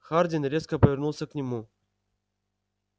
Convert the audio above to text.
хардин резко повернулся к нему